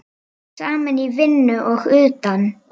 Saman í vinnu og utan.